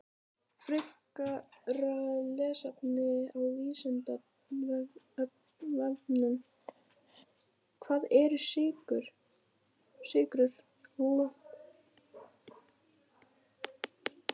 Frekara lesefni á Vísindavefnum: Hvað eru sykrur?